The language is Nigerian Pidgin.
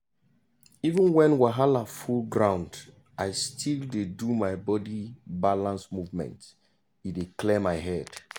even when wahala full ground i still dey do my body balance movement e dey clear my head.